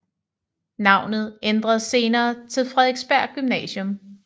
Navnet ændredes senere til Frederiksberg Gymnasium